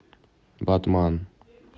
батман